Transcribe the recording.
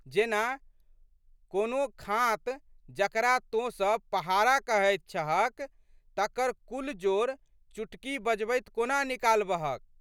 जेना, कोनो खाँत जकरा तोँसब पहाड़ा कहैत छहक तकर कुल जोड़ चुटकी बजबैत कोना निकालबहक।